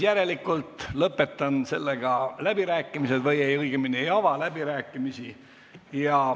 Järelikult lõpetan läbirääkimised või õigemini ei ava läbirääkimisi.